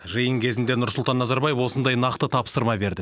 жиын кезінде нұрсұлтан назарбаев осындай нақты тапсырма берді